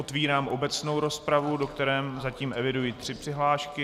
Otevírám obecnou rozpravu, do které zatím eviduji tři přihlášky.